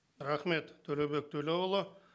рахмет төлеубек төлеуұлы